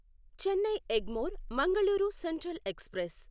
Chennai Egmore Mangaluru central express